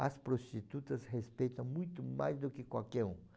As prostitutas respeitam muito mais do que qualquer um.